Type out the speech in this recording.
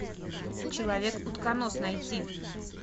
человек утконос найти